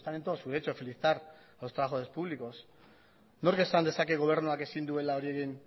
están en todo su derecho a felicitar a los trabajadores públicos nork esan dezake gobernuak ezin duela hori egin